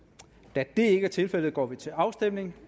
da det ikke er tilfældet går vi til afstemning